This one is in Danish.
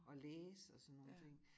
Og læse og sådan nogen ting